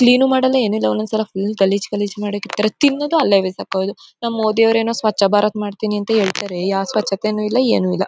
Clean ಮಾಡಲ್ಲ ಏನಿಲ್ಲ ಒಂದೊಂದು ಸಲ ಫುಲ್ ಗಲೀಜ್ ಗಲೀಜ್ ಮಾಡ್ ಹಾಕ್ತಾರೆ ತಿನ್ನೋದು ಅಲ್ಲೇ ಬಿಸಾಕೋದು ನಮ್ಮ್ ಮೋದಿಯವರು ಏನೋ ಸ್ವಚ್ಛ ಭಾರತ್ ಮಾಡ್ತೀನಿ ಅಂತ ಹೇಳ್ತಾರೆ ಯಾವೇ ಸ್ವಚ್ಛತೆನು ಇಲ್ಲ ಏನಿಲ್ಲ.